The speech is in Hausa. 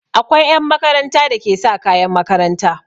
Akwai 'yan makaranta da ke sa kayan makaranta.